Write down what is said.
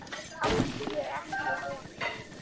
Átti ég ekki á von?